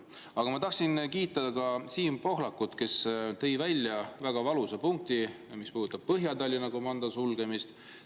Aga ma tahtsin kiita Siim Pohlakut, kes tõi välja väga valusa punkti, mis puudutab Põhja-Tallinna komando sulgemist.